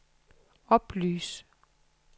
oplys